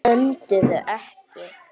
Önduðu ekki.